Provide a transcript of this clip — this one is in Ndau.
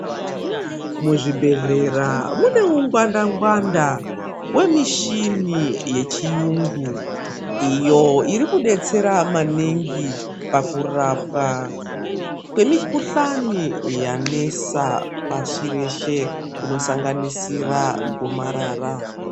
Muzvibhedhlera mune hungwanda ngwanda vemushina wechirungu iyo iri kudetsera maningi pakurapwa kwemikuhoani yanesa pasi rese inosanganisira gomarara.